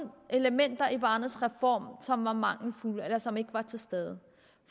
elementer i barnets reform som var mangelfulde eller som ikke var til stede